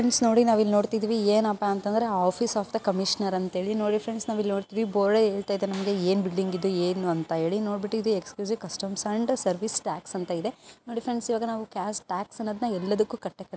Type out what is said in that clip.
Friends ನೋಡಿ ನಾವು ಇಲ್ಲಿ ನೋಡತಾ ಇದ್ದೀವಿ ಏನಪ್ಪ ಅಂದ್ರೆ ಆಫಿಸ್ ಆಫ್ ಥೆ ಕಮಿಷಿನರ್ ಅಂತ ಹೇಳಿ ನೋಡಿ ಫ್ರೆಂಡ್ಸ್ ನಾವು ನೋಡತಾ ಇದ್ದೀವಿ .ಬೋರ್ಡ್ ಹೇಳತಾ ಇದೆ. ನಮಗೆ ಏನು ಇದು ಎನ್ ಬಿಲ್ಡಿಂಗ್ ಅಂತ ಹೇಳಿ ನುಡ ಬಿಟ್ಟು exclusive custom and service tax ಅಂತ ಇದೆ. ನೂಡಿ ಫ್ರೆಂಡ್ಸ್ ಈವಾಗ ಟ್ಯಾಕ್ಸ್ ಅನ್ನದ್ನ್ ಎಲ್ಲೇದಕು ಕಟ್ಟೆ--